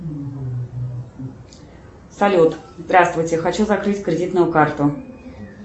салют здравствуйте хочу закрыть кредитную карту